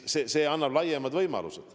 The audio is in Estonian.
See annab laiemad võimalused.